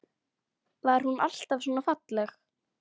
Var hún alltaf svona falleg?